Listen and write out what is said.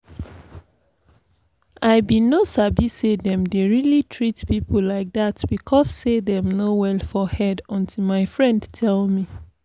i bin no sabi say them dey really treat people like that because say dem no well for head until my friend tell me